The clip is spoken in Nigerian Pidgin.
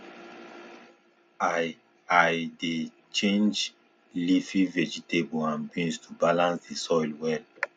i i dey change leafy vegetable and beans to balance the soil well